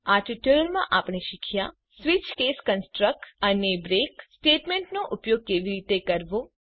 આ ટ્યુટોરીયલma આપણે શીખ્યા સ્વીચ કેસ કન્સટ્રક અને બ્રેક સ્ટેટમેન્ટનો ઉપયોગ કેવી રીતે કરવો